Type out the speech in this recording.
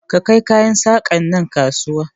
Ka kai kayan saƙan nan kasuwa!